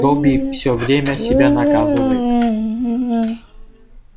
добби всё время себя наказывает